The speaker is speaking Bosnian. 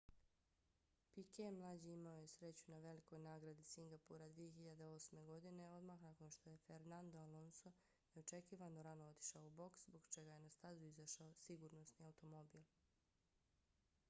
piquet mlađi imao je nesreću na velikoj nagradi singapura 2008. godine odmah nakon što je fernando alonso neočekivano rano otišao u boks zbog čega je na stazu izašao sigurnosni automobil